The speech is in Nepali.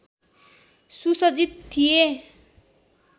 सुसज्जित थिए